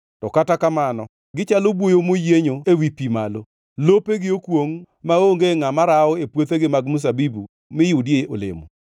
“To kata kamano gichalo buoyo moyienyo ewi pi malo; lopegi okwongʼ, maonge ngʼama rawo e puothegi mag mzabibu mi yudie olemo.